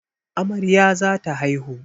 Amarya za ta haihu.